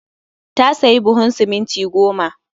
Ta sayi buhun siminti goma